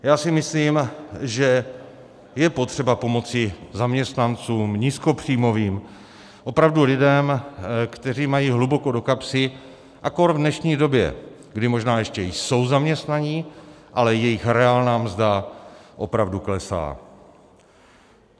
Já si myslím, že je potřeba pomoci zaměstnancům nízkopříjmovým, opravdu lidem, kteří mají hluboko do kapsy, a kór v dnešní době, kdy možná ještě jsou zaměstnaní, ale jejich reálná mzda opravdu klesá.